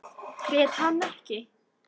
Grét hann ekki.